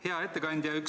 Hea ettekandja!